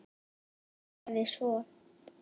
Sagði svo